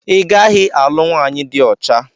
I gaghị alụ nwaanyị dị ọcha!